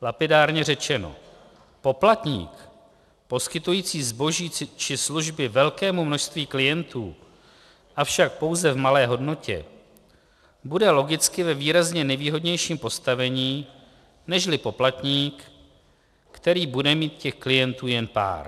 Lapidárně řečeno: poplatník poskytující zboží či služby velkému množství klientů, avšak pouze v malé hodnotě, bude logicky ve výrazně nevýhodnějším postavení nežli poplatník, který bude mít těch klientů jen pár.